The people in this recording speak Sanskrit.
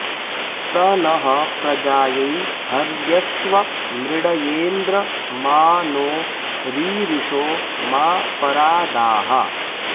स नः प्रजायै हर्यश्व मृळयेन्द्र मा नो रीरिषो मा परा दाः